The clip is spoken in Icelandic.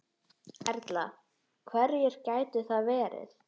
Erla: Hverjir gætu það verið?